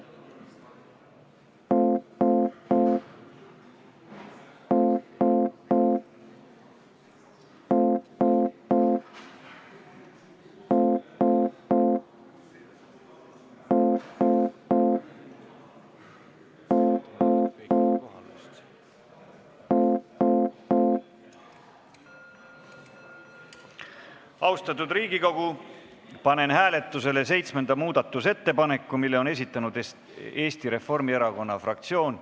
Austatud Riigikogu, panen hääletusele seitsmenda muudatusettepaneku, mille on esitanud Eesti Reformierakonna fraktsioon.